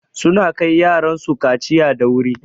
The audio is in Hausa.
Suna kai yaran su kaciya da wuri.